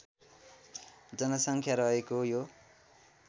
जनसङ्ख्या रहेको यो